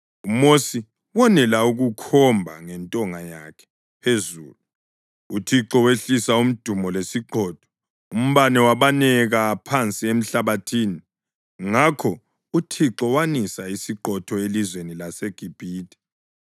UMosi wonela ukukhomba ngentonga yakhe phezulu, uThixo wehlisa umdumo lesiqhotho, umbane wabaneka phansi emhlabathini. Ngakho uThixo wanisa isiqhotho elizweni laseGibhithe.